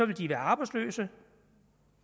de være arbejdsløse